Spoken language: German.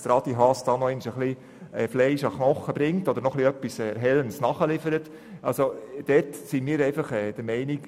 Ich habe gedacht, Adi Haas bringe noch ein wenig Fleisch an den Knochen oder liefere etwas Erhellendes nach.